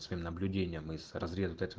своим наблюдением и с разрезу дать